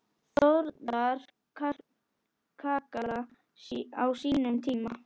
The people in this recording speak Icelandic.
Þórðar kakala á sínum tíma.